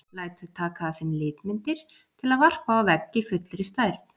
Lætur taka af þeim litmyndir til að varpa á vegg í fullri stærð.